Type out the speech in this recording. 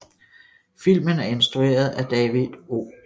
Filmen er instrueret af David O